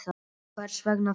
Hvers vegna þá?